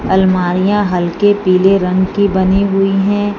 अलमारियां हल्के पीले रंग की बनी हुई है।